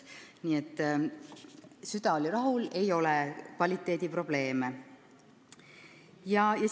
Nii et süda oli rahul, töö kvaliteedi probleeme ei ole.